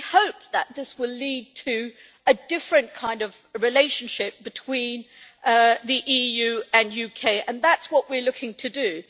We hope that this will lead to a different kind of relationship between the EU and the UK and that is what we are looking to do.